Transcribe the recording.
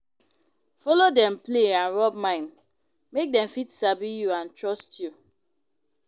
Follow dem play and rub mind, make dem fit sabi you and trust you